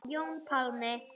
Jón Pálmi.